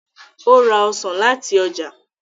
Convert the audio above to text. o ra ọsán láti ọjà.